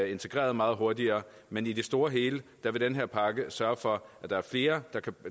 integreret meget hurtigere men i det store og hele vil den her pakke sørge for at der er flere